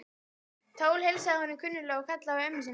Tóti heilsaði honum kunnuglega og kallaði á ömmu sína.